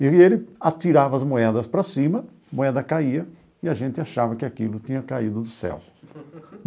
E ele atirava as moedas para cima, a moeda caía e a gente achava que aquilo tinha caído do céu.